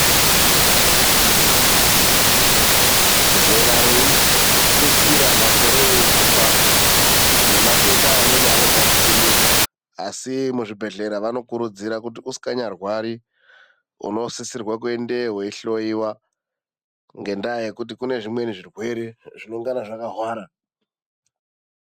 Zera reitutsira nemakore eihamba ,nematenda amweni anotangakunyuka. Madhokodheya anokururudzira yaamho kuti tivhakachire kuchibhedhlera koohloyiwa zvimweni zvitenda zvinenge zvakahwara.